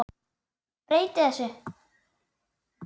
Breyti þessu.